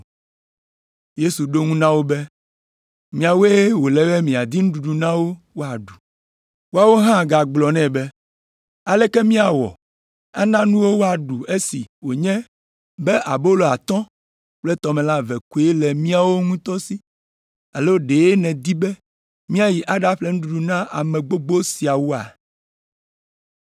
Yesu ɖo eŋu na wo be, “Miawoe wòle be miadi nuɖuɖu na wo woaɖu.” Woawo hã gagblɔ nɛ be, “Aleke míawɔ ana nu wo woaɖu esi wònye be abolo atɔ̃ kple tɔmelã eve koe le míawo ŋutɔ si, alo ɖe nèdi be míayi aɖaƒle nuɖuɖu na ame gbogbo siawoa?”